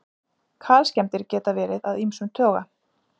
Kalskemmdir geta verið af ýmsum toga.